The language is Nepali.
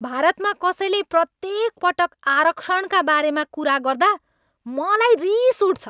भारतमा कसैले प्रत्येक पटक आरक्षणका बारेमा कुरा गर्दा मलाई रिस उठ्छ।